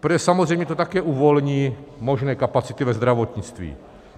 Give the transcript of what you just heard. Protože samozřejmě to také uvolní možné kapacity ve zdravotnictví.